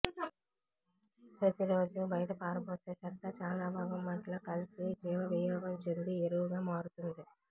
ప్రతి రోజు భయటపారబోసే చెత్త చాలా భాగం మట్టిలో కలిసి జీవ వియోగం చెంది ఎరువుగా మారుతుంది